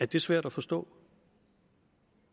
det svært at forstå